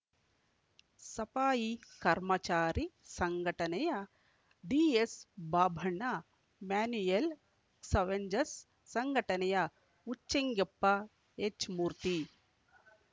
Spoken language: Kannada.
ಸಫಾಯಿ ಕರ್ಮಚಾರಿ ಸಂಘಟನೆಯ ಡಿಎಸ್‌ಬಾಬಣ್ಣ ಮ್ಯಾನ್ಯುಯಲ್‌ ಕ್ಸವೆಂಜಸ್‌ ಸಂಘಟನೆಯ ಉಚ್ಚೆಂಗೆಪ್ಪ ಎಚ್‌ಮೂರ್ತಿ